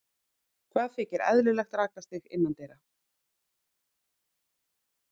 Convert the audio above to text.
Hvað þykir eðlilegt rakastig innandyra?